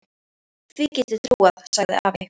Því get ég trúað, sagði afi.